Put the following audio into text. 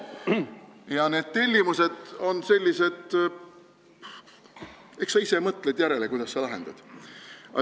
Ja need tellimused on sellised, et eks sa ise mõtled, kuidas sa need täidad.